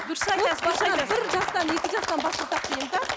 дұрыс айтасыз дұрыс айтасыз бір жастан екі жастан бастасақ